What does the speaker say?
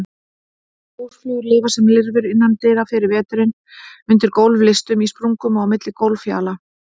Húsflugur lifa sem lirfur innandyra yfir veturinn, undir gólflistum, í sprungum og á milli gólffjala.